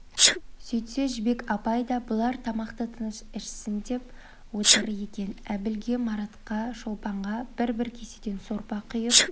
сөйтсе жібек апай да бұлар тамақты тыныш ішсін деп отыр екен әбілге маратқа шолпанға бір-бір кеседен сорпа құйып